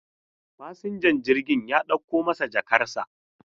Fasinjan jirgin ya dauko masa jakarsa.